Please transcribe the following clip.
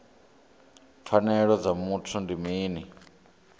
pfanelo dza muthu ndi mini